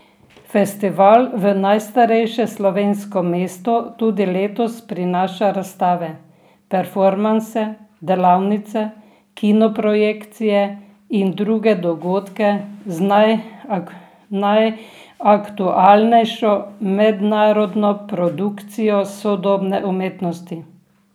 Festival v najstarejše slovensko mesto tudi letos prinaša razstave, performanse, delavnice, kino projekcije in druge dogodke z najaktualnejšo mednarodno produkcijo sodobne umetnosti.